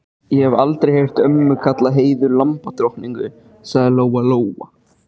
Ég hef aldrei heyrt ömmu kalla Heiðu lambadrottningu, sagði Lóa Lóa.